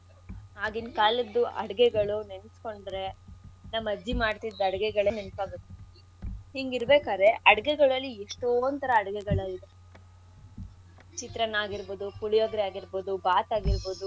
ಅದು ಆಗಿನ್ ಕಾಲದ್ದು ಅಡ್ಗೆಗಳು ನೆನ್ಸ್ಕೊಂಡ್ರೆ ನಮ್ಮ ಅಜ್ಜಿ ಮಾಡ್ತಿದ್ ಅಡ್ಗೆಗಳೇ ನೆನ್ಪಾಗೊದು. ಹಿಂಗಿರಬೇಕಾದ್ರೆ ಅಡ್ಗೆಗಳಲ್ಲಿ ಎಷ್ಟೊಂತರ ಅಡ್ಗೆಗಳ್ ಇದೆ ಚಿತ್ರಾನ್ನ ಆಗಿರ್ಬೋದು, ಪುಳಿಯೊಗ್ರೇ ಆಗಿರ್ಬೋದು, ಬಾತ್ ಆಗಿರ್ಬೋದು.